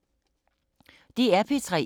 DR P3